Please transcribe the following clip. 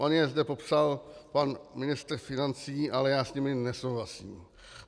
On je zde popsal pan ministr financí, ale já s nimi nesouhlasím.